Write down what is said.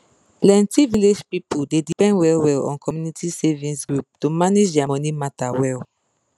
plenty village people dey depend well well on community savings group to manage their money matter well